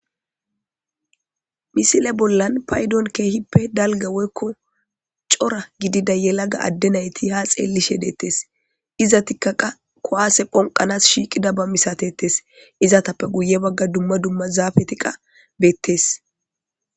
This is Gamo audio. Misile bollan paydon keehippe dalgga woykko cora gidida yelaga adde nayti ha xeellish deettes. Izatikka qa kuwase phonqqanaas shiiqidaba misatetes. Izatappe guye bagga dimma dumma zaafeti qa beettes.